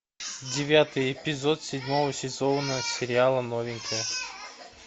девятый эпизод седьмого сезона сериала новенькая